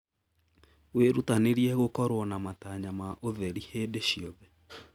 Wĩrutanĩrie gũkorwo na matanya wa ũtheri hĩndĩ ciothe.